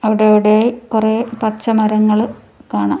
അവിടെ അവിടെയായി കുറെ പച്ചമരങ്ങൾ കാണാം.